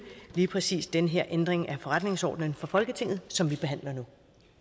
lige præcis den her ændring af forretningsordenen for folketinget som vi behandler nu